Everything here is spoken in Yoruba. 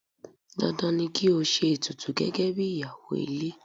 Dandan ni ko ṣe ètùtù gẹ́gẹ́bí ìyàwó ilé.